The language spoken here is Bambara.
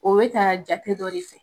O bɛ ka jate dɔ de fɛ.